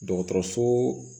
Dɔgɔtɔrɔso